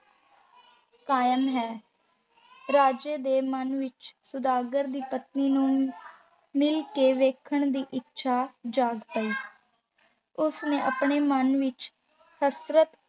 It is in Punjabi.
ਕਾਇਮ ਹੈ। ਰਾਜੇ ਦੇ ਮਨ ਵਿੱਚ ਸੁਦਾਗਰ ਦੀ ਪਤਨੀ ਨੂੰ ਮਿਲ ਕੇ ਵੇਖਣ ਦੀ ਇੱਛਾ ਜਾਗ ਪਈ ਉਸ ਨੇ ਆਪਣੇ ਮਨ ਵਿੱਚ ਹਸਰਤ